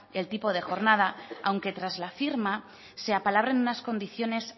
el tipo de jornada aunque tras la firma se apalabren unas condiciones